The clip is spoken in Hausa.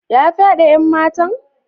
Ya fyade yan matan?